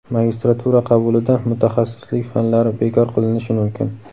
Magistratura qabulida mutaxassislik fanlari bekor qilinishi mumkin.